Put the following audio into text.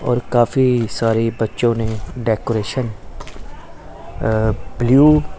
और काफी सारे बच्चों ने डेकोरेशन अ ब्लू --